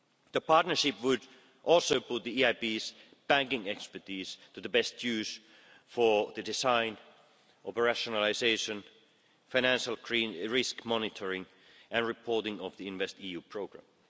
The partnership would also put the EIB's banking expertise to the best use for the design of a rationalisation of financial risk monitoring and reporting of the InvestEU programme.